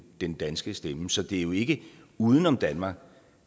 den danske stemme så det er jo ikke uden om danmark